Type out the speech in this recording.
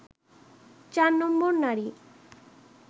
৪ number নারী